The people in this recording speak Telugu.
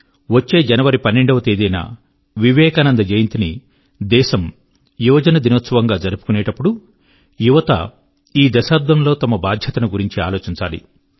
వచ్చే జనవరి 12 వ తేదీన వివేకానంద జయంతి ని దేశము యువ జన దినోత్సవం గా జరుపుకునేటప్పుడు ప్రతి యొక్క యువజనత ఈ దశాబ్దం లో తమ బాధ్యత ను గురించి ఆలోచించాలి